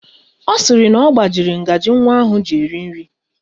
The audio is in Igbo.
Ọ sịrị na ọ gbajiri ngaji nwa ahụ ji eri nri